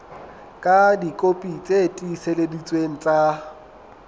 ka dikopi tse tiiseleditsweng tsa